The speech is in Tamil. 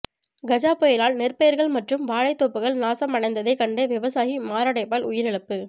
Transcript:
கஜா புயலால் நெற்பயிர்கள் மற்றும் வாழைத்தோப்புகள் நாசம் அடைந்ததை கண்டு விவசாயி மாரடைப்பால் உயிரிழப்பு